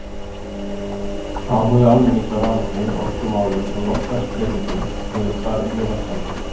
Áhugi almennings á rafmagni, orkumálum og loftslagsbreytingum hefur farið mjög vaxandi.